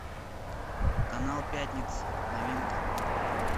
канал пятница новинка